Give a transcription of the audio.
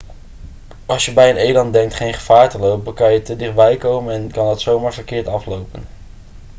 als je bij een eland denkt geen gevaar te lopen kan je te dichtbij komen en kan dat zomaar verkeerd aflopen